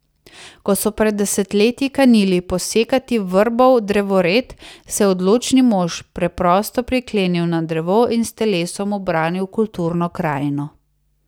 Ko so pred desetletji kanili posekati vrbov drevored, se je odločni mož preprosto priklenil na drevo in s telesom obranil kulturno krajino.